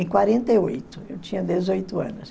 em quarenta e oito. Eu tinha dezoito anos.